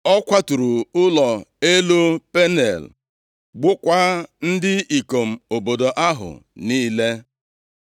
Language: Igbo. Ọ kwaturu ụlọ elu Peniel gbukwaa ndị ikom obodo ahụ niile.